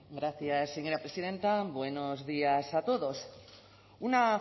gracias señora presidenta buenos días a todos una